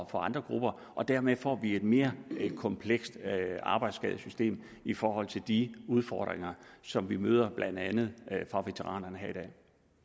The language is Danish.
for andre grupper og dermed får vi et mere komplekst arbejdsskadesystem i forhold til de udfordringer som vi møder blandt andet fra veteranerne